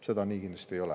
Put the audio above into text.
See nii kindlasti ei ole.